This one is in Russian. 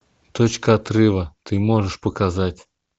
точка отрыва ты можешь показать